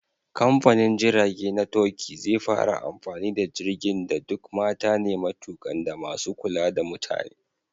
Kamfanin jirage na Turkey zai fara amfani da jirgin da duk mata ne matukan da masu kula da mutane.